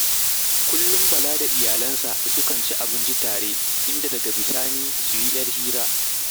Kullum Bala da iyalansa sukan ci abinci tare, inda daga bisa ni su yi ‘yar hira